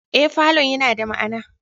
Ee, falon yana da ma'ana